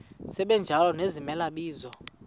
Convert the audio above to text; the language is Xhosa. sibanjalo nezimela bizo